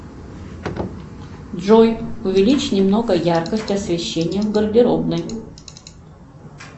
джой увеличь немного яркость освещения в гардеробной